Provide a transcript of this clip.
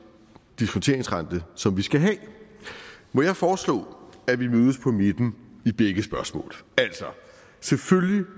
diskonteringsrente som vi skal have må jeg foreslå at vi mødes på midten i begge spørgsmål selvfølgelig